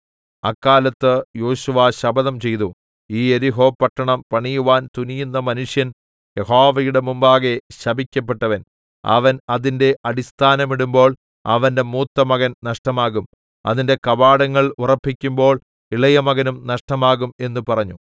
അക്കാലത്ത് യോശുവ ശപഥം ചെയ്തു ഈ യെരിഹോ പട്ടണം പണിയുവാൻ തുനിയുന്ന മനുഷ്യൻ യഹോവയുടെ മുമ്പാകെ ശപിക്കപ്പെട്ടവൻ അവൻ അതിന്റെ അടിസ്ഥാനമിടുമ്പോൾ അവന്റെ മൂത്തമകൻ നഷ്ടമാകും അതിന്റെ കവാടങ്ങൾ ഉറപ്പിക്കുമ്പോൾ ഇളയ മകനും നഷ്ടമാകും എന്ന് പറഞ്ഞു 27 യഹോവ യോശുവയോടുകൂടെ ഉണ്ടായിരുന്നു അവന്റെ കീർത്തി ദേശത്ത് എല്ലാടവും പരന്നു